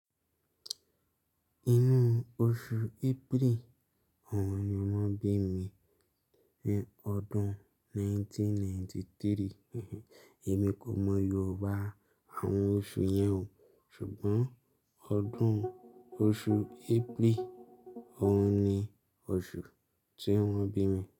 Inú oṣù April ọ̀run ni wọ́n bí mi ní ọdún 1993. Èmi kò mọ Yorùbá àwọn oṣù yẹn o, ṣùgbọ́n ọdún-- oṣù April ọ̀hun ni oṣù tí wọ́n bí mi.